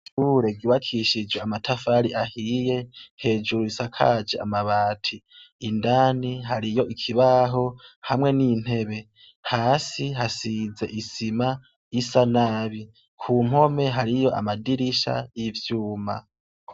Ishure ryubakishije amatafari ahiye, hejuru risakaje amabati. Indani hariyo ikibaho, hamwe n'intebe. Hasi hasize isima isa nabi. Ku mpome hariyo amadirisha y'ivyuma.